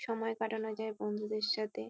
সময় কাটানো যায় বন্ধুদের সাথে।